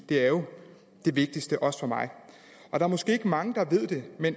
det er jo det vigtigste også for mig der er måske ikke mange der ved det